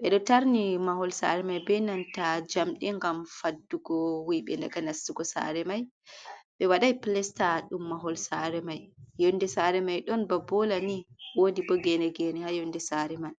be do tarni mahol sare mai beinanta jamdin gam haddugo wiibe daga nastugo sare mai be wadai plesta dum mahol sare mai yonde sare mai don ba bola ni wodi bo gene gene ha yonde sare mai.